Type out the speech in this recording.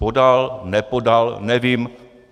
Podal, nepodal, nevím.